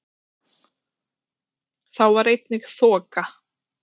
Það eru til tvö afbrigði af melaníni.